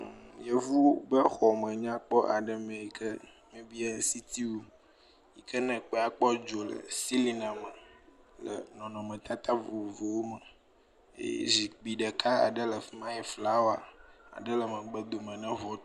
Yevu ƒe xɔme nyakpɔ aɖe me yi ke nye sitting room hene kpe kpɔ dzo le ceilling na me le nɔnɔmetata vovowo me eye zikpui ɖeka aɖe le fi ma yi ke flawa le megbe dome na ŋutrua.